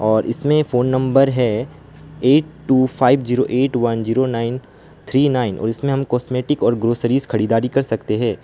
और इसमें phone number है eight two five zero eight one nine three nine इसमें हम कॉस्मेटिक और ग्रोसरीज खरीदारी कर सकते हैं।